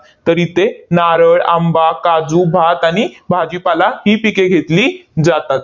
तर इथे नारळ, आंबा, काजू, भात आणि भाजीपाला ही पिके घेतली जातात.